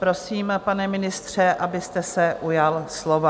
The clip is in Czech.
Prosím, pane ministře, abyste se ujal slova.